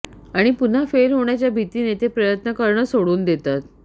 आणि पुन्हा फेल होण्याच्या भीतीने ते प्रयत्न करणंच सोडून देतात